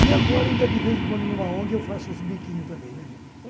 E agora, ainda de vez em quando, numa ONG, eu faço os biquinhos também, né, gente?